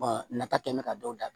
nafa kɛ mɛ ka dɔw da